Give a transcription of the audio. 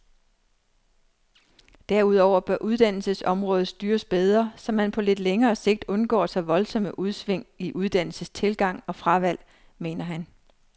Derudover bør uddannelsesområdet styres bedre, så man på lidt længere sigt undgår så voldsomme udsving i uddannelsestilgang og fravalg, mener han.